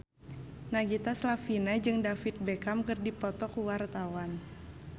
Nagita Slavina jeung David Beckham keur dipoto ku wartawan